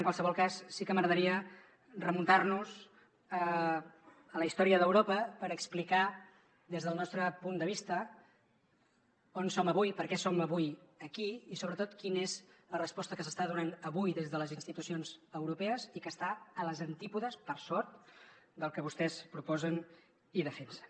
en qualsevol cas sí que m’agradaria remuntar nos a la història d’europa per explicar des del nostre punt de vista on som avui per què som avui aquí i sobretot quina és la resposta que s’està donant avui des de les institucions europees i que està als antípodes per sort del que vostès proposen i defensen